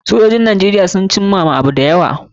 Sojojin Najeriya sun cimma abu da yawa.